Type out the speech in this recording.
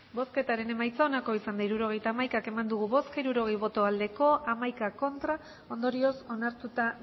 hirurogeita hamaika eman dugu bozka hirurogei bai hamaika ez ondorioz onartuta